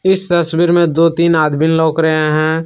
इस तस्वीर में दो तीन आदमी लौक रहे हैं।